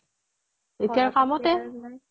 এতিয়া আৰু কামতে